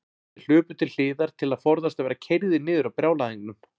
Þeir hlupu til hliðar til að forðast að verða keyrðir niður af brjálæðingnum.